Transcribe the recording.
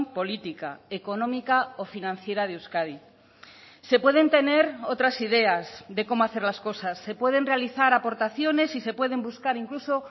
política económica o financiera de euskadi se pueden tener otras ideas de cómo hacer las cosas se pueden realizar aportaciones y se pueden buscar incluso